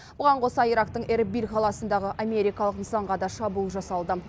бұған қоса ирактың эрбиль қаласындағы америкалық нысанға да шабуыл жасалды